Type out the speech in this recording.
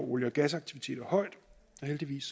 olie og gasaktiviteter højt og heldigvis